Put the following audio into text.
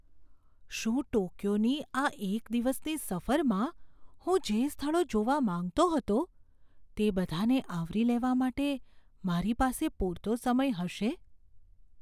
શું ટોક્યોની આ એક દિવસની સફરમાં હું જે સ્થળો જોવા માંગતો હતો તે બધાંને આવરી લેવા માટે મારી પાસે પૂરતો સમય હશે?